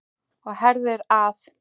Og herðir að.